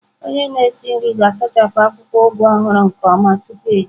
Onye na-esi nri ga-asachapụ akwụkwọ Ugu ọhụrụ nke ọma tupu eji ya.